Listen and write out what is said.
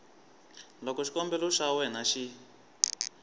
loko xikombelo xa wena xi